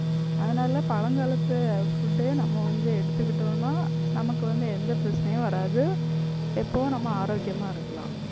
அதனால பழங்காலத்து food ஏ நம்ம வந்து எடுத்துக்கிட்டோன்னா நமக்கு வந்து எந்த பிரச்சனையும் வராது எப்பவும் நம்ம ஆரோக்கியமா இருக்கலாம்.